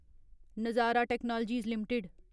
नजारा technologies limited